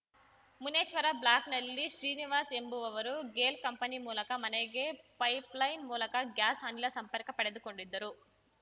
ಮುನೇಶ್ವರ ಬ್ಲಾಕ್‌ನಲ್ಲಿ ಶ್ರೀನಿವಾಸ್‌ ಎಂಬುವವರು ಗೇಲ್‌ ಕಂಪನಿ ಮೂಲಕ ಮನೆಗೆ ಪೈಪ್‌ಲೈನ್‌ ಮೂಲಕ ಗ್ಯಾಸ್‌ ಅನಿಲ ಸಂಪರ್ಕ ಪಡೆದುಕೊಂಡಿದ್ದರು